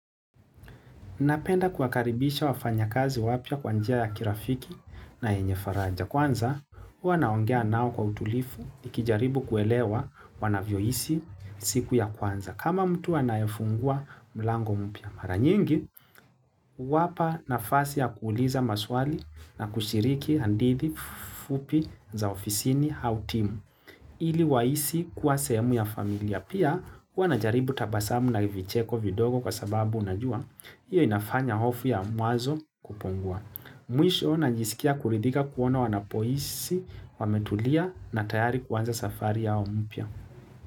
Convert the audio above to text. Napenda kuwakaribisha wafanya kazi wapya kwa njia ya kirafiki na yenye faraja. Kwanza, huwa naongea nao kwa utulivu, nikijaribu kuelewa wanavyohisi siku ya kwanza. Kama mtu anayefungua mlango mpya mara nyingi, huwapa nafasi ya kuuliza maswali na kushiriki hadithi fupi za ofisini au timu ili wahisi kuwa sehemu ya familia. Pia, huwa najaribu tabasamu na vicheko vidogo kwa sababu najua, hiyo inafanya hofu ya mwanzo kupungua. Mwisho na najisikia kuridhika kuona wanapohisi, wametulia na tayari kuanza safari ya mpya.